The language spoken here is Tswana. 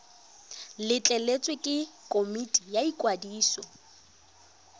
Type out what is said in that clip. letleletswe ke komiti ya ikwadiso